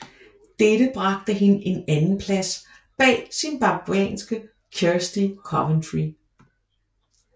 Dette bragte hende en andenplads bag zimbabwianske Kirsty Coventry